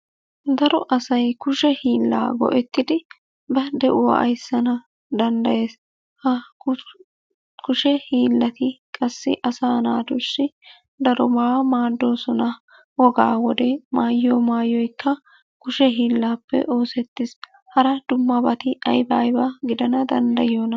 Daro asay kushee hiila go"ettidii ba de'uwaa ayssana danddayees. Ha kushee hiilati qassi asa naatussi daroba maaddoosona. Woga wode maayyiyo maayoykka kushe hiilappe oosettees. Hara dummabati aybba aybba gidana danddayoyona